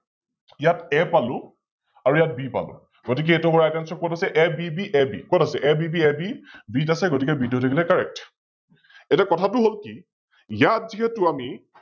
ইয়াত A পালো আৰু ইয়াত B পালো, গতিকে এইতো Horizontals কত আছে, কত আছে ABBAB কত আছে, ABBABB ত আছে গতিকে B টো হৈ থাকিলে Correct । এতিয়া কথাটো হল কি ইয়াত যিহেতু আমি